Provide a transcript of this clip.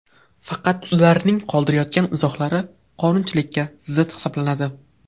Faqat ularning qoldirayotgan izohlari qonunchilikka zid hisoblanadi.